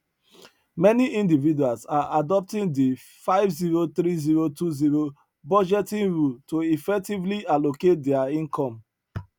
many individuals are adopting di five zero three zero two zero budgeting rule to effectively allocate dia income